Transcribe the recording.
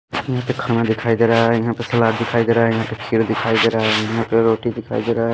यहां पे खाना दिखाई दे रहा है यहां पे सलाद दिखाई दे रहा है यहां पे खीर दिखाई दे रहा है यहां पे रोटी दिखाई दे रहा है।